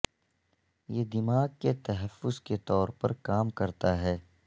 یہ دماغ کے تحفظ کے طور پر کام کرتا ہے